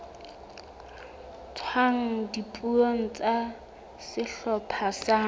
tswang dipuong tsa sehlopha sa